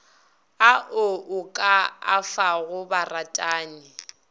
ao o ka afago baratani